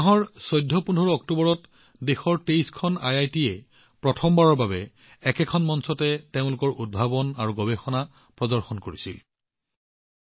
এই মাহত ১৪১৫ অক্টোবৰত সকলো ২৩খন আইআইটি প্ৰথমবাৰৰ বাবে তেওঁলোকৰ উদ্ভাৱন আৰু গৱেষণা প্ৰকল্পবোৰ প্ৰদৰ্শন কৰিবলৈ এক মঞ্চত উপৱিষ্ট হৈছিল